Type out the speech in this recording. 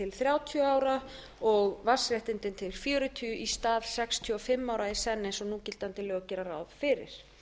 þrjátíu ára og vatnsréttindin til fjörutíu í stað sextíu og fimm ára í senn eins og núgildandi lög gera ráð fyrir